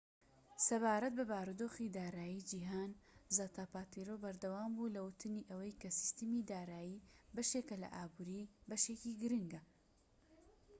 سەبارەت بە بارودۆخی دارایی جیهانی، زاپاتێرۆ بەردەوام بوو لە وتنی ئەوەی کە سیستەمی دارایی بەشێکە لە ئابووری، بەشێکی گرنگە‎